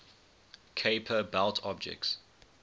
kuiper belt objects